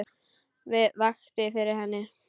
Hvað vakti fyrir henni?